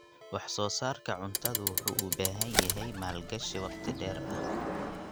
Wax-soo-saarka cuntadu wuxuu u baahan yahay maalgashi waqti dheer ah.